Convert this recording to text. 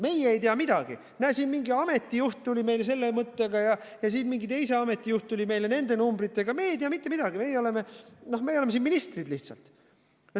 Teie ei tea midagi, mingi ameti juht tuli selle mõttega ja mingi teise ameti juht tuli nende numbritega, te ei tea mitte midagi, teie olete siin ministrid lihtsalt.